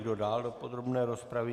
Kdo dál do podrobné rozpravy?